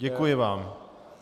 Děkuji vám.